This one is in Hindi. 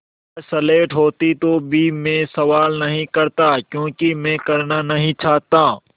अगर स्लेट होती तो भी मैं सवाल नहीं करता क्योंकि मैं करना नहीं चाहता